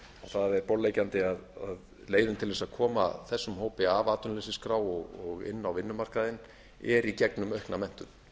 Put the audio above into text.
það er borðleggjandi að leiðin til að koma þessum hópi af atvinnuleysisskrá og inn á vinnumarkaðinn er í gegnum aukna menntun